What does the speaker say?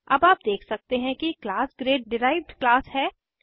अब आप देख सकते हैं कि क्लास ग्रेड डिराइव्ड क्लास है